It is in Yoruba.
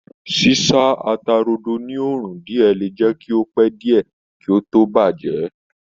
Sísá ata-rodo ní òrùn díẹ̀ le jẹ́ kí ó pẹ́ díẹ̀ kí ó tó bàjẹ́